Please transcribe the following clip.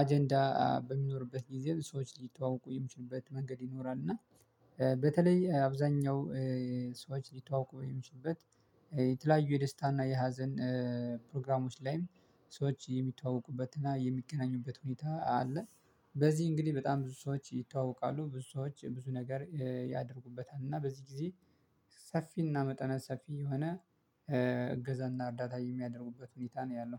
አጀንዳ በሚኖርበት ጊዜ ሰዎች ሊተዋወቁ የሚችሉበት መንገድ ይኖራል። እና በተለይ አብዛኛው ሰዎች ሊተዋወቁ የሚችሉበት የተለያዩ የደስታና የሀዘን ፕሮግራሞች ላይም ሰዎች የሚተዋወቁበትና የሚገናኙበት ሁኔታ አለ። በዚህ እንግዲህ በጣም ብዙ ሰዎች ይተዋወቃሉ ብዙ ሰዎች ብዙ ነገር ያደርጉበታል እና በዚህ ጊዜ። ሰፊና መጠነ ሰፊ የሆነ እገዛና እርዳታ የሚያደርጉበት ሁኔታ ነው ያለው